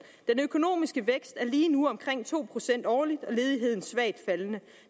økonomiske vækst er lige nu omkring to procent årligt og ledigheden svagt faldende